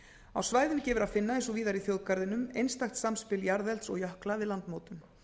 á svæðinu gefur að finna eins og víðar í þjóðgarðinum einstakt samspil jarðelds og jökla við landmótun